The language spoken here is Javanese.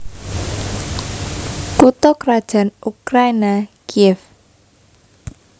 Kutha krajan Ukraina Kiyéw